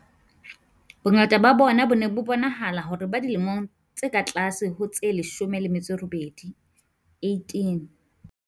Bongata ba bona bo ne bo bonahala hore bo dilemong tse ka tlase ho tse 18.